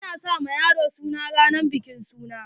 A na sa wa yaro suna ranan bikin suna.